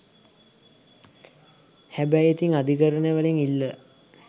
හැබය් ඉතින් අධිකරණ වලින් ඉල්ලා